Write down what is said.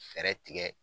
Fɛɛrɛ tigɛ